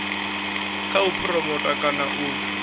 kha u phuromotha kana u